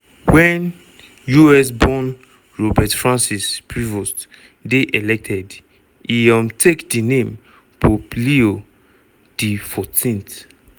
wen us-born robert francis prevost dey elected e um take di name pope leo xiv.